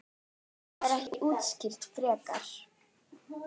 Það er ekki útskýrt frekar.